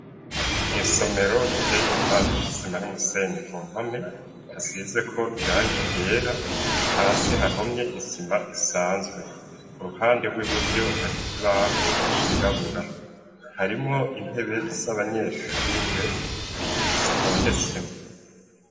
Mw'isomero riteye igipande c'isima n'umusenyi ku mpome hasizeko irangi ryera, hasi hahomye ibisima isanzwe uruhande rw'iburyo hari ikibaho cirabura. Harimwo intebe z'abanyeshure zitondetsemwo.